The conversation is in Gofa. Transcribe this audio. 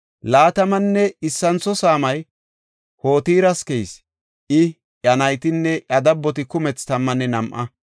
Laatamanne issintho saamay Hotiras keyis; I, iya naytinne iya dabboti kumethi tammanne nam7a.